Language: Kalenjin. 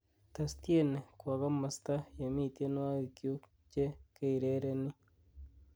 tes tieni kwo komosto yemi tienywogikyuk che keirereni